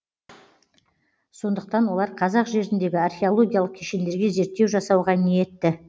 сондықтан олар қазақ жеріндегі археологиялық кешендерге зерттеу жасауға ниетті